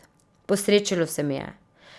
Posrečilo se mi je.